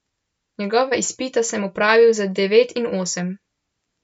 Njegova izpita sem opravil, z devet in osem.